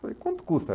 Falei, quanto custa?